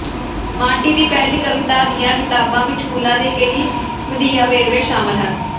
Marty ਦੀ ਪਹਿਲੀ ਕਵਿਤਾ ਦੀਆਂ ਕਿਤਾਬਾਂ ਵਿੱਚ ਫੁੱਲਾਂ ਦੇ ਕਈ ਵਧੀਆ ਵੇਰਵੇ ਸ਼ਾਮਲ ਸਨ